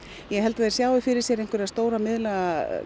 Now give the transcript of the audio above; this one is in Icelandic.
ég held að þeir sjái fyrir sér einhverja stóra miðlæga